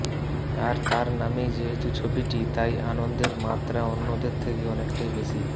আর তাঁর নামেই যেহেতু ছবিটি তাই আনন্দের মাত্রা অন্যদের থেকে অনেকটাই বেশি